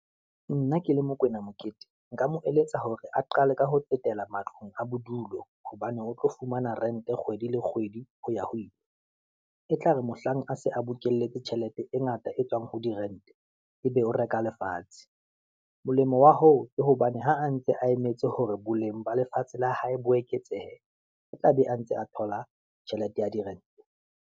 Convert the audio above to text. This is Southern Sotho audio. Nna ke le Mokoena Mokete, nka mo eletsa hore a qale ka ho tsetela matlong a bodulo, hobane o tlo fumana rent-e kgwedi le kgwedi ho ya ho ile. E tla re mohlang a se a bokeletse tjhelete e ngata e tswang ho di rent-e ebe o reka lefatshe. Molemo wa hoo, ke hobane ha a ntse a emetse hore boleng ba lefatshe la hae bo eketsehe, e tla be a ntse a thola tjhelete ya di rent-e.